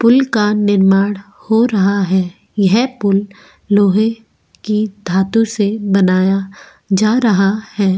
पुल का निर्माण हो रहा है यह पुल लोहे की धातु से बनाया जा रहा है।